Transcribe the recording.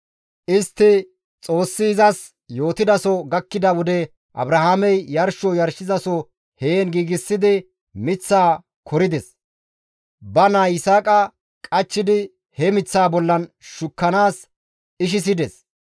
Istti Xoossi izas yootidaso gakkida wode Abrahaamey yarsho yarshizaso heen giigsidi miththaa korides; ba naa Yisaaqa qachchidi he miththaa bollan shukkanaas ishisides.